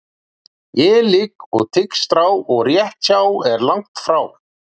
Ég ligg og tygg strá og rétt hjá er langt frá.